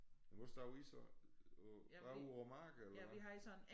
Men hvor stod I så på bare ud over mark eller hvad